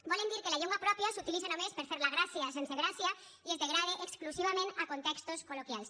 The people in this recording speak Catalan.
volen dir que la llengua pròpia s’utilitza només per fer la gràcia sense gràcia i es degrada exclusivament a contextos col·loquials